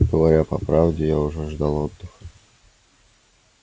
говоря по правде я уже ждал отдыха